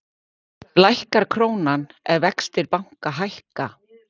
lækkar krónan ef vextir banka hækka